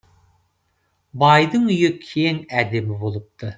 байдың үйі кең әдемі болыпты